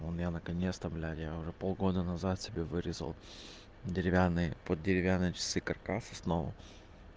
у меня наконец-то блядь я уже полгода назад себе вырезал деревянные под деревянные часы каркас основу